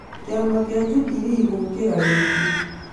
Kĩama kĩa Jubilee gũũkira rĩngĩ